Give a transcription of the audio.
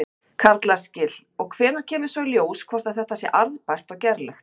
Karl Eskil: Og hvenær kemur svo í ljós hvort að þetta sé arðbært og gerlegt?